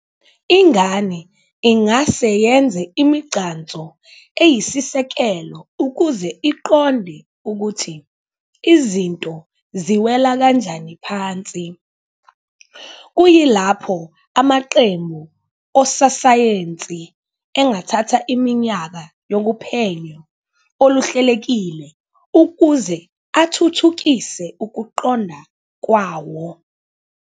Ingane ingase yenze imigcanso eyisisekelo ukuze iqonde ukuthi izinto ziwela kanjani phansi, kuyilapho amaqembu ososayensi engathatha iminyaka yophenyo oluhlelekile ukuze athuthukise ukuqonda kwawo